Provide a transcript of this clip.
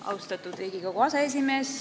Austatud Riigikogu aseesimees!